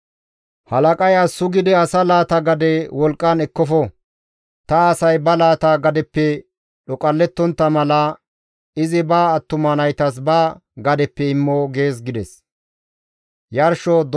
Halaqay as sugidi asa laata gade wolqqan ekkofo. Ta asay ba laata gadeppe dhoqallettontta mala, izi ba attuma naytas ba gadeppe immo› gees» gides.